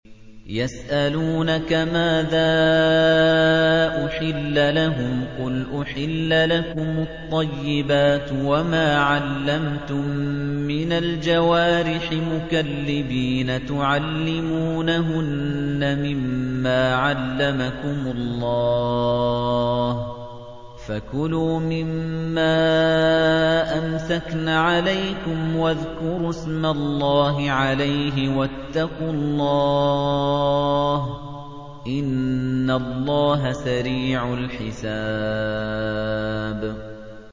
يَسْأَلُونَكَ مَاذَا أُحِلَّ لَهُمْ ۖ قُلْ أُحِلَّ لَكُمُ الطَّيِّبَاتُ ۙ وَمَا عَلَّمْتُم مِّنَ الْجَوَارِحِ مُكَلِّبِينَ تُعَلِّمُونَهُنَّ مِمَّا عَلَّمَكُمُ اللَّهُ ۖ فَكُلُوا مِمَّا أَمْسَكْنَ عَلَيْكُمْ وَاذْكُرُوا اسْمَ اللَّهِ عَلَيْهِ ۖ وَاتَّقُوا اللَّهَ ۚ إِنَّ اللَّهَ سَرِيعُ الْحِسَابِ